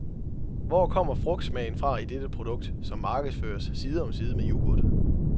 Hvor kommer frugtsmagen fra i dette produkt, som markedsføres side om side med yoghurt?